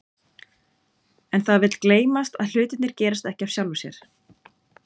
En það vill gleymast að hlutirnir gerast ekki af sjálfu sér.